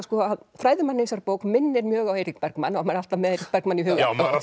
fræðimaðurinn í þessari bók minnir mjög á Eirík Bergmann og maður er alltaf með Eirík Bergmann í huga